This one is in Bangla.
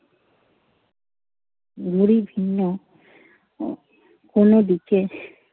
মুড়ি ভিন্ন উহ কোনো দিকে